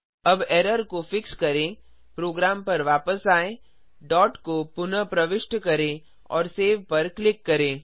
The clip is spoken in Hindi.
अब एरर को फिक्स करें प्रोग्राम पर वापस आएँ डॉट को पुनः प्रविष्ट करें और सेव पर क्लिक करें